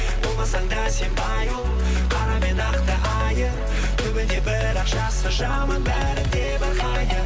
болмасаң да сен қара мен ақты айыр түбінде бірақ жақсы жаман бәрі небір хайыр